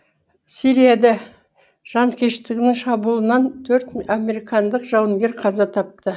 сирияда жанкештінің шабуылынан төрт американдық жауынгер қаза тапты